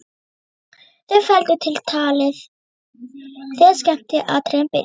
Þau felldu talið þegar skemmtiatriðin byrjuðu.